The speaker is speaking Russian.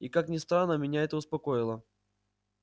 и как ни странно меня это успокоило